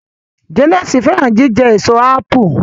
Janet fẹràn jíjẹ Èso ápù